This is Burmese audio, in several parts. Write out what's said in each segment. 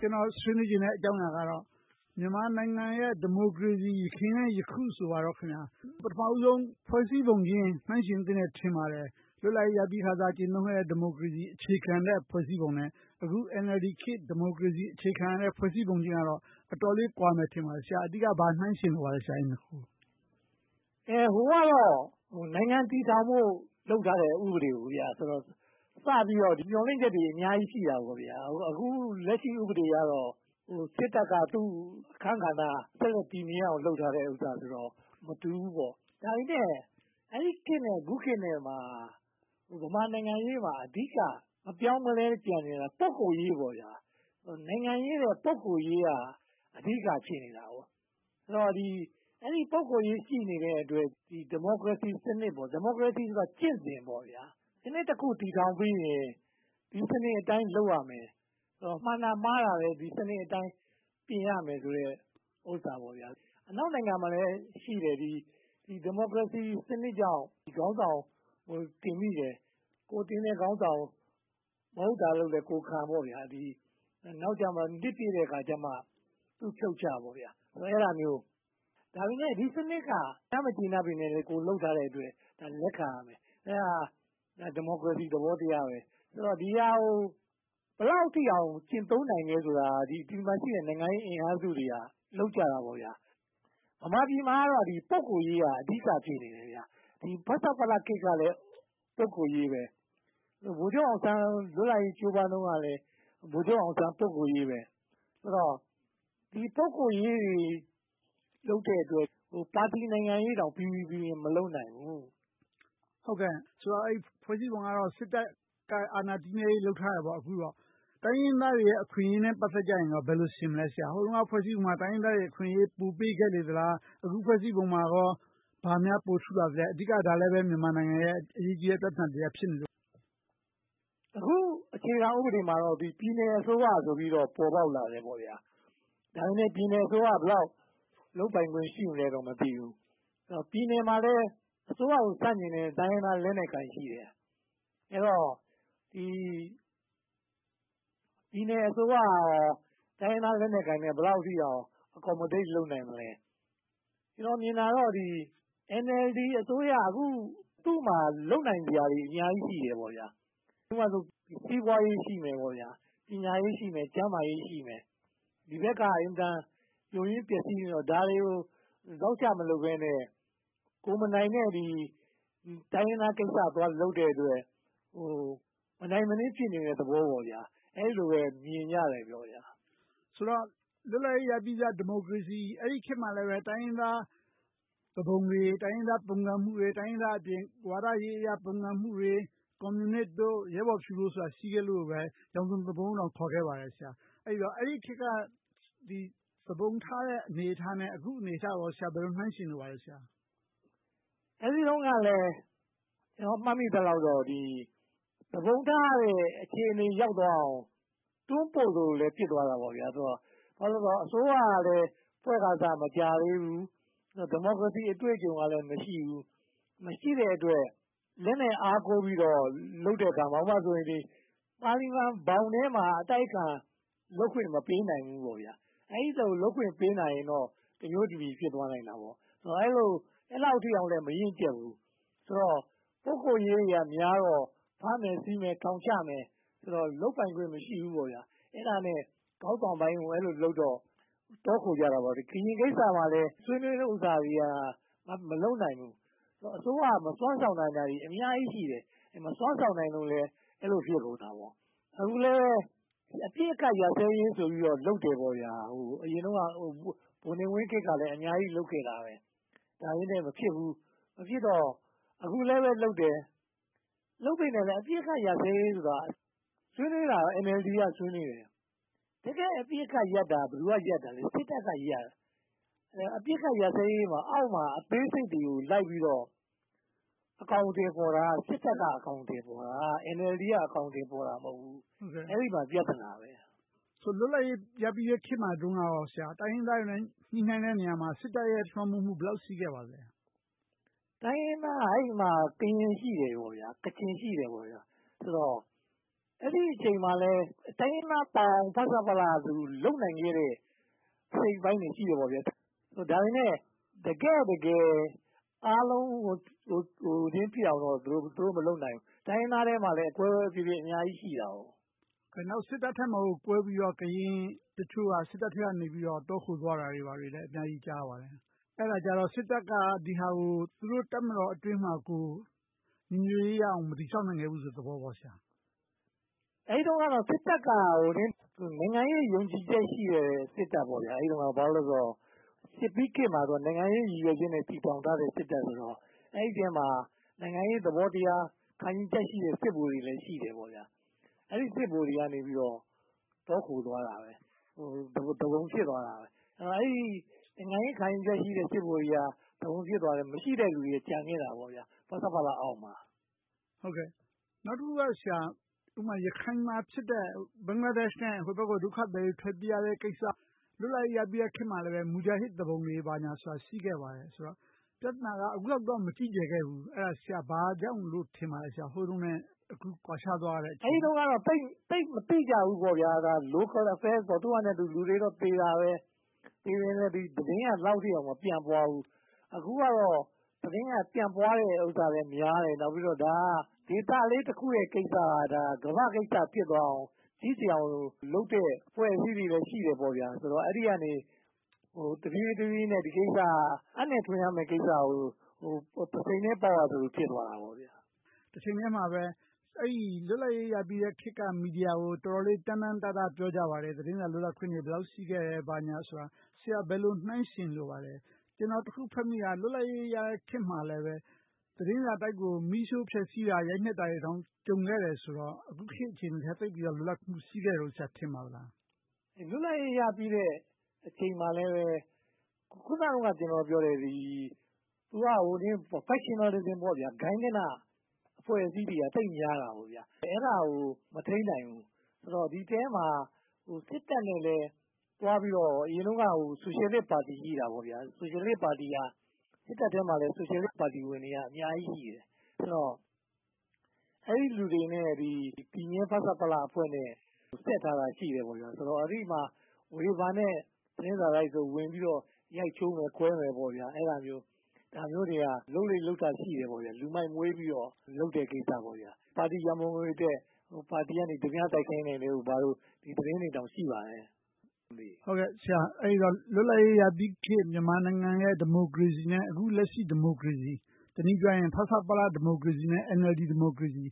ကျနော်ဆွေးနွေးချင်တဲ့ အကြောင်းအရာကတော့ မြန်မာနိုင်ငံရဲ့ ဒီမိုကရေစီ ယခင် နှင့် ယခု ဆိုပါတော့။ ပထမဦးဆုံး ဖွဲ့စည်းပုံခြင်း နှိုင်းယှဉ်သင့်တယ် ထင်ပါတယ်။ လွတ်လပ်ရေးရပြီးခါစ ဒီမိုကရေစီအခြေခံတဲ့ ဖွဲ့စည်းပုံနဲ့ အခု NLD ခေတ် ဒီမိုကရေစီအခြေခံတဲ့ ဖွဲ့စည်းပုံခြင်းကတော့ အတော်လေးကွာမယ် ထင်ပါတယ်။ ဆရာအနေနဲ့ ဘာတွေကို နှိုင်းယှဉ်လိုပါလဲ။ ဟိုကတော့ နိုင်ငံတည်ထောင်ဖို့ လုပ်ထားတဲ့ ဥပဒေဆိုတော့ မျှော်လင့်ချက်တွေ အများကြီးရှိတယ်။ အခုလက်ရှိ ဥပဒေကတော့ စစ်တပ်က သူ့အခန်းကဏ္ဍ ဆက်လက်တည်မြဲအောင် လုပ်ထားတဲ့ဟာဆိုတော့ မတူဘူးပေါ့။ ဒါပေမဲ့ အဲဒီခေတ်နဲ့ အခုခေတ်နဲ့ ဗမာနိုင်ငံရေးမှာ အဓိက မပြောင်းမလဲ ကျန်ခဲ့တာ ပုဂ္ဂိုလ်ရေးပါ။ နိုင်ငံရေးထက် ပုဂ္ဂိုလ်ရေးက အဓိက ဖြစ်နေတယ်။ အဲဒီလို ပုဂ္ဂိုလ်ရေး ရှိနေတဲ့အတွက် ဒီမိုကရေစီစနစ် - ဒီမိုကရေစီဆိုတာ ကျင့်စဉ်ပါ။ စနစ်တခု တည်ထောင်ပြီးရင် ဒီစနစ်အတိုင်း လုပ်ရမယ်။ မှန်တာ၊ မှားတာထက် ဒီစနစ်အတိုင်း ပြင်ရမယ်ဆိုတဲ့အရာ။ အနောက်နိုင်ငံတွေမှာလည်းရှိတယ်။ ဒီမိုကရေစီစနစ်ကြောင့် ခေါင်းဆောင်တင်မိတယ်။ ကိုယ်တင်တဲ့ခေါင်းဆောင် မဟုတ်တာလုပ်လဲ ကိုယ်ခံပေါ့။ နောက်ကျမှ နှစ်ပြည့်တဲ့အခါ ဖြုတ်ချပေါ့။ ဒါပေမဲ့ ဒီစနစ်က အများမကျေနပ်ပေမယ့်လဲ ကိုယ်လုပ်ထားတဲ့အတွက် လက်ခံရမယ်။ အဲဒါ ဒီမိုကရေစီသဘောတရား ဖြစ်တယ်။ ဒီဟာကို ဘယ်လောက်အထိ ကျင့်သုံးနိုင်သလဲဆိုတာ ဒီမှာရှိတဲ့ နိုင်ငံရေးအင်အားစုတွေက လုပ်ကြတယ်။ ဗမာပြည်မှာတော့ ပုဂ္ဂိုလ်ရေးက အဓိက ဖြစ်နေတယ်။ ဖဆပလခေတ်ကလည်း ပုဂ္ဂိုလ်ရေး။ ဗိုလ်ချုပ်အောင်ဆန်း လွတ်လပ်ရေးကြိုးပမ်းတုန်းကလည်း ဗိုလ်ချုပ်အောင်ဆန်း ပုဂ္ဂိုလ်ရေး။ ဆိုတော့ ဒီ ပုဂ္ဂိုလ်ရေးတွေ လုပ်တဲ့အတွက် ပါတီနိုင်ငံရေးတောင် ပီပီပြင်ပြင် မလုပ်နိုင်တော့ဘူး။ ဆိုတော့ ဖွဲ့စည်းပုံကတော့ စစ်တပ်က အာဏာတည်မြဲရေး အခုတော့ လုပ်ထားတယ်ပေါ့။ တိုင်းရင်းသားတွေရဲ့ အခွင့်အရေးနဲ့ ပတ်သက်ကြရင် ဘယ်လိုယှဉ်မလဲ။ ဟိုတုန်းက ဖွဲ့စည်းပုံကတော့ တိုင်းရင်းသားတွေ အခွင့်အရေးကို ပိုပေးခဲ့လေသလား။ အခု ဖွဲ့စည်းပုံမှာ ဘာများပိုထူးလာသလဲ။ ဒါလဲ အဓိကတော့ မြန်မာနိုင်ငံရဲ့ အရေးကြီးတဲ့ ပြဿနာတရပ် ဖြစ်နေတယ် မဟုတ်လား။ အခုအခြေခံဥပဒေမှာတော့ ပြည်နယ်အစိုးရဆိုပြီးတော့ ပေါ်ပေါက်လာတယ်။ ဒါပေမဲ့ ပြည်နယ်အစိုးရက ဘယ်လောက်လုပ်ပိုင်ခွင့် ရှိမလဲဆိုတာတော့ မသိဘူး။ ပြည်နယ်မှာလည်း အစိုးရကို ဆန့်ကျင်တဲ့ တိုင်းရင်းသားလက်နက်ကိုင် ရှိတယ်။ အဲဒီတော့ ပြည်နယ်အစိုးရက တိုင်းရင်းသားလက်နက်ကိုင်နဲ့ ဘယ်လောက်အထိအောင် accommodate လုပ်နိုင်မလဲ။ ကျနော်မြင်တာကတော့ အန်အလ်ဒီ အစိုးရက အခု သူမှာလုပ်နိုင်စရာတွေ အများကြီးရှိတယ်။ ဥပမာ စီးပွားရေး ရှိမယ်။ ပညာရေး၊ ကျန်းမာရေး ရှိမယ်။ ဒီဘက်က အင်မတန် ယိုးယွင်းပျက်စီးနေတာတွေကို ဇောက်ချမလုပ်ဘဲနဲ့ ကိုယ်မနိုင်တဲ့ တိုင်းရင်းသားကိစ္စ သွားလုပ်တဲ့အတွက် မနိုင်မနင်း ဖြစ်နေတဲ့သဘောပေါ့။ အဲဒီလိုပဲ မြင်ကြတယ်။ ဆိုတော့ လွတ်လပ်ရေးပြီးစ ဒီမိုကရေစီ အဲဒီခေတ်မှာလည်း တိုင်းရင်းသားသူပုန်တွေ၊ တိုင်းရင်းသား ပုန်ကန်မှုတွေအပြင်၊ ဝါဒရေးအရ ပုန်ကုန်မှုတွေ၊ ကွန်မြူနစ်၊ ရဲဘော်ဖြူတွေ ရှိခဲ့လို့ ရောင်စုံသူပုန်လိုတောင် ခေါ်ခဲ့ပါတယ်။ ဆိုတော့ အဲဒီခေတ်က သူပုန်ထတဲ့အနေအထားနဲ့ အခုအနေအထားကို ဘယ်လိုနှိုင်းယှဉ်လိုပါလဲ။ အဲဒီတုန်းကလဲ ကျနော် မှတ်မိသလောက်တော့ သူပုန်ထဖို့ အခြေအနေရောက်သွားအောင် တွန်းပို့သလိုလဲ ဖြစ်သွားခဲ့တယ်။ ဘာဖြစ်လို့လဲဆိုတော့ အစိုးရကလည်းဖွဲ့တာ မကြာသေးဘူး။ ဒီမိုကရေစီအတွေ့အကြုံကလည်း မရှိဘူး။ မရှိတဲ့အတွက် လက်နက်အားကိုးပြီးတော့ လုပ်တဲ့အခါမှာ ဥပမာ ပါလီမန်ဘောင်ထဲမှာ အတိုက်အခံ လုပ်ခွင့်မပေးနိုင်ဘူး။ အဲဒီလို လုပ်ခွင့်ပေးနိုင်ရင်တော့ တမျိုးတဖုံ ဖြစ်သွားနိုင်တာပေါ့။ အဲဒီလောက်အထိလဲ မရင့်ကျတ်ဘူး။ ပုဂ္ဂိုလ်ရေးတွေကများတော့ ဖမ်းမယ်၊ ဆီးမယ်၊ ထောင်ချမယ်ဆိုတော့ လုပ်ပိုင်ခွင့် မရှိဘူး။ အဲဒီလိုနဲ့ ခေါင်းဆောင်ပိုင်းကိုလုပ်တော့ တောခိုကြတာပေါ့။ ကရင်ကိစ္စမှာလဲ ဆွေးနွေးတဲ့ကိစ္စတွေလည်း မလုပ်နိုင်ဘူး။ အစိုးရက မစွမ်းဆောင်နိုင်တာတွေ အများကြီးရှိတယ်။ မစွမ်းဆောင်နိုင်လို့လည်း အဲဒီလို ဖြစ်ကုန်တာပေါ့။ အခုလဲပဲ အပစ်အခတ်ရပ်စဲရေးဆိုပြီး လုပ်တယ်။ အရင်တုန်းက ဗိုလ်နေဝင်းခေတ်ကလည်း အများကြီးလုပ်ခဲ့တယ်။ ဒါပေမဲ့ မဖြစ်ဘူး။ မဖြစ်တော့ အခုလဲပဲလုပ်တယ်။ လုပ်ပေမယ့် အပစ်အခတ်ရပ်စဲရေးဆိုတာ ဆွေးနွေးတာ အန်အလ်ဒီ က ဆွေးနွေးတယ်။ တကယ့်အပစ်အခတ်ရပ်တာ ဘယ်သူက ရပ်တာလဲ။ စစ်တပ်ကရပ်ရမှာ။ အပစ်အခတ်ရပ်စဲရေးမှာ အောက်မှာအသေးစိတ်တွေကို လိုက်ပြီးတော့ အကောင်အထည်ဖော်တာက စစ်တပ်က အကောင်အထည်ဖော်တာ။ အန်အလ်ဒီ က အကောင်အထည်ဖော်တာ မဟုတ်ဘူး။ အဲဒီမှာ ပြဿနာဖြစ်တာ။ လွတ်လပ်ရေးရပြီးတဲ့ခေတ်မှာ တိုင်းရင်းသားတွေနဲ့ ညှိနှိုင်းတဲ့နေရာမှာ စစ်တပ်ရဲ့ လွှမ်းမိုးမှု ဘယ်လောက်ရှိခဲ့ပါသလဲ။ တိုင်းရင်းသားက အဲဒီမှာ ကရင်၊ ကချင် ရှိတယ်။ အဲဒီအချိန်မှာလဲ တိုင်းရင်းသားပေါင်း ဖဆပလလို့ လုပ်နိုင်ခဲ့တဲ့ အစိတ်အပိုင်းတွေ ရှိတယ်။ ဒါပေမဲ့ တကယ့်တကယ် အားလုံးပါလာဖို့တော့ သူတို့မလုပ်နိုင်ခဲ့ဘူး။ တိုင်းရင်းသားထဲမှာလည်း အကွဲကွဲအပြဲပြဲ အများကြီးရှိနေခဲ့တယ်။ နောက် စစ်တပ်ထဲမှာ ကွဲပြီးတော့ ကရင်တချို့က စစ်တပ်ထဲကနေ တောခိုသွားတာတွေ အများကြီးကြားရပါတယ်။ အဲဒါကြတော့ စစ်တပ်က ဒီဟာကို သူတို့တပ်မတော်အတွင်းမှာ ညီညွှတ်ရေးရအောင် မတည်ဆောက်နိုင်ခဲ့ဘူးဆိုတဲ့ သဘောပေါ့။ အဲဒီတုန်းကတော့ စစ်တပ်က နိုင်ငံရေးယုံကြည်ချက်ရှိတဲ့ စစ်တပ်။ အဲဒီတုန်းကတော့ စစ်ပြီးခေတ်ဆိုတော့ နိုင်ငံရေးရည်ရွယ်ချက်နဲ့ တည်ထောင်ထားတဲ့ စစ်တပ်ဆိုတော့ အဲဒီအထဲမှာ နိုင်ငံရေးသဘောတရား၊ ခံယူချက်ရှိတဲ့ စစ်ဗိုလ်တွေလည်း ရှိနေတယ်။ အဲဒီစစ်ဗိုလ်တွေက တောခိုသွားခဲ့တယ်။ သူပုန်ဖြစ်သွားကြတယ်။ နိုင်ငံရေးခံယူချက် ရှိတယ်လူတွေက သူပုန်ဖြစ်သွားတယ်။ မရှိတဲ့လူတွေ ဖဆပလအောက်မှာ ကျန်ခဲ့တယ်။ နောက်တခုက ရခိုင်မှာဖြစ်တဲ့ ဘင်္ဂလားဒေ့ရှ်နဲ့ ဟိုဘက်ကို ဒုက္ခသည်တွေ ထွက်ပြေးရတဲ့ကိစ္စ။ လွတ်လပ်ရေးရပြီးတဲ့ခေတ်မှာလည်း မူဂျာဟစ်သူပုန်တွေ ဘာတွေဆိုတာ ရှိခဲ့တယ်ဆိုတော့ ပြဿနာက အခုလောက်တော့ မကြီးကျယ်ခဲ့ဘူး။ ဘာကြောင့်လို့ ထင်ပါလဲ။ ဟိုတုန်းနဲ့ အခုကွာခြားသွားရတဲ့အကြောင်း။ အဲဒီတုန်းကတော့ သိပ်မသိကြဘူးပေါ့။ Local Affairs သူ့ဟာနဲ့သူတော့ လူတွေသေကြေကြတယ်။ ဒါပေမဲ့ သတင်းက ဒီလောက်အထိကို မပျံ့သွားဘူး။ အခုကတော့ သတင်းက ပျံ့ပွားမှုနှုန်းကလည်းများတယ်။ ဒါက ဒေသလေးတခုရဲ့ ကိစ္စကို ကမ္ဘာ့ကိစ္စ ဖြစ်သွားအောင် ကြီးကျယ်အောင်လုပ်တဲ့ အဖွဲ့အစည်းတွေလည်း ရှိတယ်ဆိုတော့ အဲဒီကနေ တဖြည်းဖြည်းနဲ့ ဒီကိစ္စက အပ်နဲ့ထွင်ရမယ့်ကိစ္စကို ပုဆိန်နဲ့ ပေါက်ရသလို ဖြစ်သွားတာပေါ့။ တချိန်တည်းမှာပဲ လွတ်လပ်ရေးရပြီးစခေတ်က မီဒီယာကို တော်တော်လေး တမ်းတမ်းတတ ပြောကြပါတယ်။ သတင်းစာလွတ်လပ်ခွင့်တွေ ဘယ်လောက်အထိ ရှိကြတယ်။ ဘာညာဆိုတာကို ဆရာ ဘယ်လိုနှိုင်းယှဉ်လိုပါလဲ။ ကျနော် တခုဖတ်မိတာ လွတ်လပ်ရေးရတဲ့ခေတ်မှာလည်း သတင်းစာတိုက်ကို မီးရှို့ဖျက်ဆီးတာ၊ ရိုက်နှက်ဖျက်ဆီးတာတွေတောင် ကြုံခဲ့တယ်ဆိုတော့ အခုခေတ်အချိန်ထက် လွတ်လပ်ခွင့် ရှိတယ်လို့ ဆရာ ထင်ပါသလား။ လွတ်လပ်ရေးရပြီးတဲ့အချိန်မှာလဲ အခုန ကျနော်ပြောသလို Factionalism ဂိုဏ်းကနအဖွဲ့အစည်းတွေက သိပ်များတယ်။ အဲဒါကို မထိန်းနိုင်ဘူး။ ဒီအထဲမှာလဲ စစ်တပ်နဲ့လည်း သွားပြီးတော့ - အရင်တုန်းကလည်း ဆိုရှယ်လစ်ပါတီ ရှိတယ်။ အဲဒီပါတီက စစ်တပ်ထဲမှာလည်း ဆိုရှယ်လစ်ပါတီဝင်တွေက အများကြီးရှိတယ်။ အဲဒီလူတွေနဲ့ တည်မြဲ ဖဆပလအဖွဲ့နဲ့ ဆက်ထားတာရှိတယ်။ အဲဒီမှာ ဝေဖန်တဲ့ သတင်းစာတိုက်တွေကို ဝင်ရောက်ပြီး ရိုက်ချိုးမယ်၊ ခွဲမယ် ဖြစ်ကြတယ်။ ဒါမျိုးတွေက လုပ်လေ့လုပ်ထ ရှိခဲ့တယ်။ လူမိုက်မွေးပြီးတော့ လုပ်တဲ့ကိစ္စပေါ့။ ပါတီရန်ပုံငွေအတွက် ပါတီက ဓမြတိုက်ခိုင်းတာတို့ ဘာတို့ အဲဒီသတင်းတွေတောင် ရှိပါတယ်။ အဲဒီတော့ လွတ်လပ်ရေးရပြီးခေတ် မြန်မာနိုင်ငံရဲ့ ဒီမိုကရေစီနဲ့ အခုလက်ရှိ ဒီမိုကရေစီ တနည်းပြောရရင် ဖဆပလ ဒီမိုကရေစီ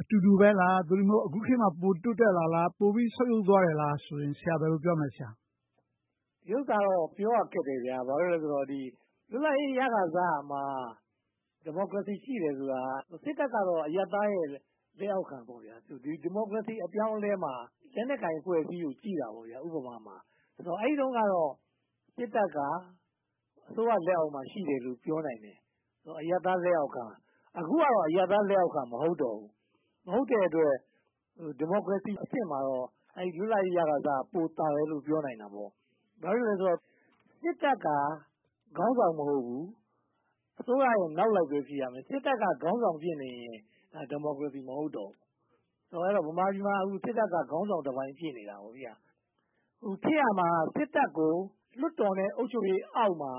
အတူတူပဲလား။ သို့တည်းမဟုတ် အခုခေတ်မှာ ပိုတိုးတက်လာသလား။ ပိုပြီးဆုတ်ယုတ်သွားတယ်လား - အဲဒါကို ဆရာ ဘယ်လိုပြောမလဲ။ ဒီဥစ္စာတော့ ပြောရခက်တယ်။ ဘာဖြစ်လို့လဲဆိုတော့ လွတ်လပ်ရေးရခါစမှာ ဒီမိုကရေစီ ရှိတယ်ဆိုတာ စစ်တပ်က အရပ်သားရဲ့ လက်အောက်ခံ။ ဒီမိုကရေစီ အပြောင်းအလဲမှာ လက်နက်ကိုင်အဖွဲ့အစည်းကို ကြည့်တာ။ အဲဒီတုန်းကတော့ စစ်တပ်က အစိုးရလက်အောက်မှာ ရှိတယ်လို့ ပြောနိုင်တယ်။ အရပ်သားလက်အောက်ခံ။ အခုကတော့ အရပ်သားလက်အောက်ခံ မဟုတ်တော့ဘူး။ မဟုတ်တဲ့အတွက် ဒီမိုကရေစီအဆင့်မှာတော့ လွတ်လပ်ရေးရခါစက ပိုသာတယ်လို့ ပြောလို့ရတယ်။ ဘာဖြစ်လို့လဲဆိုတော့ စစ်တပ်က ခေါင်းဆောင်မဟုတ်ဘူး။ အစိုးရရဲ့ နောက်လိုက်ပဲ ဖြစ်ရမယ်။ စစ်တပ်က ခေါင်းဆောင်ဖြစ်နေရင် အဲဒါ ဒီမိုကရေစီ မဟုတ်ဘူး။ ဗမာပြည်မှာတော့ စစ်တပ်က ခေါင်းဆောင်တပိုင်း ဖြစ်နေတယ်။ ဖြစ်ရမှာက စစ်တပ်ကို လွှတ်တော်နဲ့ အုပ်ချုပ်ရေးအောက်မှာ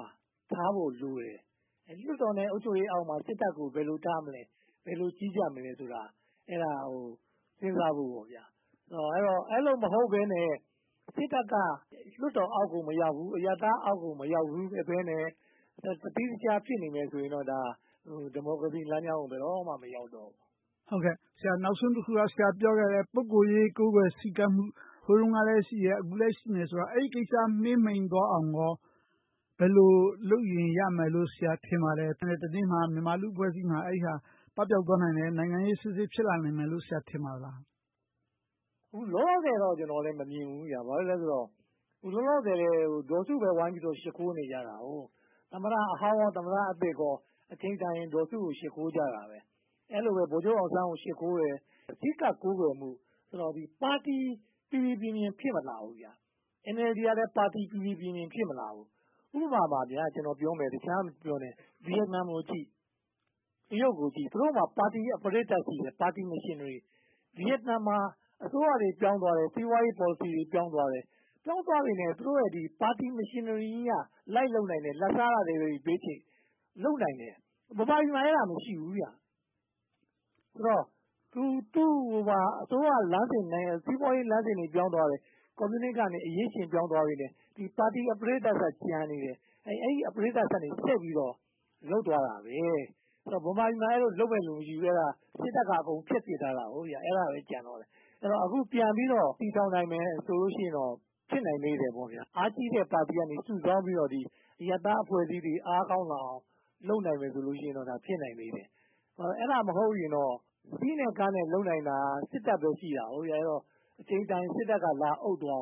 ထားဖို့လိုတယ်။ လွှတ်တော်နဲ့ အုပ်ချုပ်ရေးအောက်မှာ စစ်တပ်ကို ဘယ်လိုထားမလဲ။ ဘယ်လိုကြီးကြပ်မလဲဆိုတာ အဲဒါကို စဉ်းစားရမယ်။ အဲဒီလို မဟုတ်ဘဲနဲ့ စစ်တပ်က လွှတ်တော်အောက်ကို မရောက်ဘူး။ အရပ်သားအောက်ကို မရောက်ဘဲနဲ့ တသီးတခြား ဖြစ်နေမယ်ဆိုရင်တော့ ဒါက ဒီမိုကရေစီလမ်းကြောင်းကို ဘယ်တော့မှ မရောက်တော့ဘူး။ နောက်ဆုံးတခုက ဆရာပြောခဲ့တဲ့ ပုဂ္ဂိုလ်ရေး ကိုးကွယ်ဆည်းကပ်မှု ဟိုတုန်းကလည်း ရှိတယ်။ အခုလည်း ရှိတယ်ဆိုတော့ အဲဒီကိစ္စ မှေးမှိန်းသွားအောင်လို့ ဘယ်လိုလုပ်ရင် ရမယ်လို့ ဆရာ ထင်ပါသလဲ။ တနေ့မှာ မြန်မာ့လူ့အဖွဲ့အစည်းမှာ အဲဒါ ပပျောက်သွားနိုင်တယ်။ နိုင်ငံရေးစစ်စစ် ဖြစ်လာနိုင်မယ်လို့ ထင်ပါသလား။ လောလောဆယ်တော့ ကျနော်လည်း မမြင်ဘူး။ ဘာဖြစ်လို့လဲဆိုတော့ လောလောဆယ် ဒေါ်စုပဲ ဝိုင်းပြီးတော့ ရှိခိုးနေကြတယ်။ သမ္မတဟောင်း၊ သမ္မတသစ်တွေက အချိန်တန်ရင် ဒေါ်စုကို ရှိခိုးနေကြတယ်။ အဲဒီလိုပဲ ဗိုလ်ချုပ်အောင်ဆန်းကို ရှိခိုးတယ်။ အဓိက ကိုးကွယ်မှု၊ ပါတီနိုင်ငံရေး ပီပီပြင်ပြင် ဖြစ်မလာဘူး။ အန်အလ်ဒီကလည်း ပါတီ ပီပီပြင်ပြင် ဖြစ်မလာဘူး။ ဥပမာ တခြားမပြောနဲ့ ဗိယက်နမ်ကိုကြည့်၊ တရုတ်ကိုကြည့် သူတို့ဟာ ပါတီရဲ့ Platform ရှိတယ်။ ပါတီ Mechanism သူတို့ဟာ အစိုးရတွေ ပြောင်းသွားတယ်။ စီးပွားရေးပေါ်လစီတွေ ပြောင်းသွားတယ်။ ပြောင်းသွားပေမယ့် ပါတီယန္တရားကြီးက လိုက်လုပ်နိုင်တယ်။ လာဘ်စားတာတွေ ဘေးချိတ် လိုက်လုပ်နိုင်တယ်။ မြန်မာပြည်မှာ အဲဒါ မရှိဘူး။ ဆိုတော့ အစိုးရလမ်းစဉ်နဲ့ စီးပွားရေးလမ်းစဉ်တွေ ပြောင်းသွားတယ်။ ကွန်မြူနစ်ကနေ အရင်းရှုင် ပြောင်းသွားပေမယ့် ပါတီ mechanism က ကျန်နေတယ်။ အဲဒါကနေ ဆက်ပြီးတော့ လုပ်သွားတယ်။ ဗမာပြည်မှာ အဲဒီလို လုပ်မယ့်လူ မရှိဘူး။ စစ်တပ်က အကုန်ဖျက်ဆီးထားခဲ့တယ်။ အခု ပြန်ပြီးတော့ တည်ထောင်နိုင်မယ်ဆိုရင် ဖြစ်နိုင်သေးတယ်။ အားကြီးတဲ့ ပါတီကနေ စုဆောင်းပြီးတော့ အရပ်သားအဖွဲ့အစည်းတွေ အားကောင်းလာအောင်၊ လုပ်နိုင်မယ်ဆိုရင်တော့ ဖြစ်နိုင်ပါတယ်။ အဲဒါမဟုတ်ရင်တော့ စည်းနဲ့ကမ်းနဲ့ လုပ်နိုင်တာ စစ်တပ်ပဲ ရှိတယ်။ အချိန်တန်ရင် စစ်တပ်က လာအုပ်သွားအ